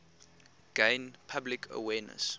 gain public awareness